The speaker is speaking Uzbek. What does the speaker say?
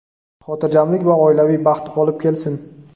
xotirjamlik va oilaviy baxt olib kelsin!.